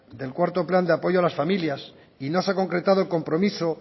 del cuarto plan de apoyo a las familias y no se ha concretado compromiso